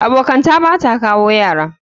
Abokanta Bata kawo Yara.